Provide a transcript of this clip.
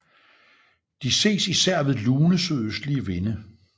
De ses især ved lune sydøstlige vinde